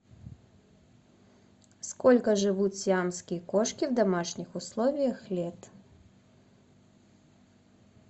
сколько живут сиамские кошки в домашних условиях лет